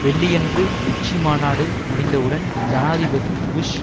வெள்ளியன்று உச்சி மாநாடு முடிந்தவுடன் ஜனாதிபதி புஷ்